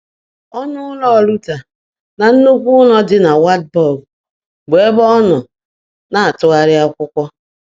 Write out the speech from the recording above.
Ọnụụlọ Luther na nnukwu ụlọ dị na Wartburg, bụ ebe ọ nọ na-atụgharịa akwụkwọ.